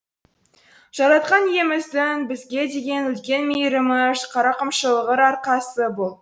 жаратқан иеміздің бізге деген үлкен мейірімі рақымшылығының арқасы бұл